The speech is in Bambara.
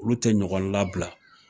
Olu tɛ ɲɔgɔn labila